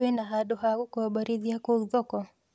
Kwĩna handũ ha gũkomborithia kũũ thoko